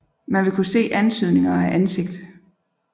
Man vil kunne se antydninger af ansigt